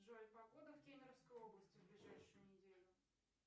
джой погода в кемеровской области в ближайшую неделю